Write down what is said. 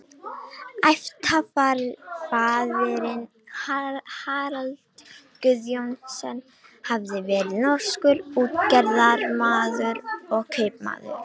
Ættfaðirinn Harald Guðjón- sen hafði verið norskur útgerðarmaður og kaupmaður.